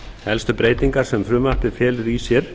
helstu breytingar sem frumvarpið felur í sér